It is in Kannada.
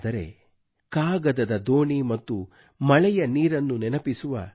ಆದರೆ ಕಾಗದದ ದೋಣಿ ಮತ್ತು ಮಳೆಯ ನೀರನ್ನು ನೆನಪಿಸುವ